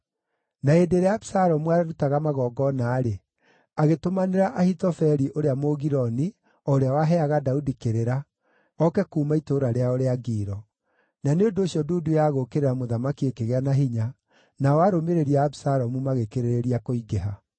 Na hĩndĩ ĩrĩa Abisalomu aarutaga magongona-rĩ, agĩtũmanĩra Ahithofeli ũrĩa Mũgiloni, o ũrĩa waheaga Daudi kĩrĩra, oke kuuma itũũra rĩao rĩa Gilo. Na nĩ ũndũ ũcio ndundu ya gũũkĩrĩra mũthamaki ĩkĩgĩa na hinya, nao arũmĩrĩri a Abisalomu magĩkĩrĩrĩria kũingĩha.